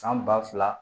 San ba fila